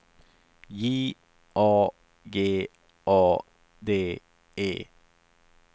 J A G A D E